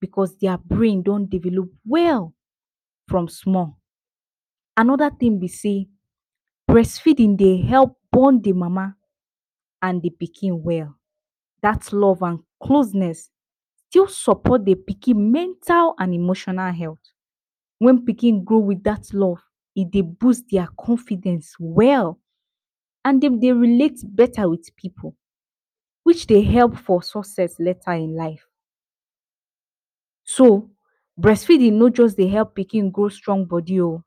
because dia brain don develop well from small. Anoda tin be sey brest feedin dey help bond the mama and the pikin well, dat love and closeness still sopot the pikin mental and emotional health. Wen pikin grow with dat love, e dey boost dia confidence well and dem dey relate beta with pipu which dey help for success later in life. So brest feeding no just dey help pikin grow strong bodi o,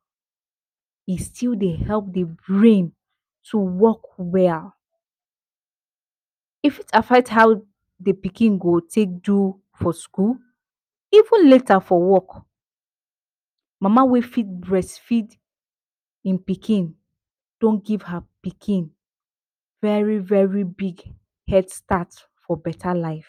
e still dey help the brain to work well, if it affect how the pikin go take do for skul, even later for work. Mama wey fit brest feed im pikin don give her pikin very-very big health start for beta life.